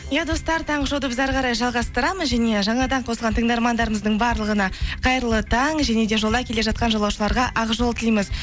иә достар таңғы шоуды біз әрі қарай жалғастырамыз және жаңадан қосылған тыңдармандарымыздың барлығына қайырлы таң және де жолда келе жатқан жолаушыларға ақ жол тілейміз